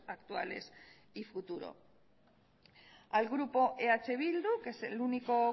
actuales y futuros al grupo eh bildu que es el único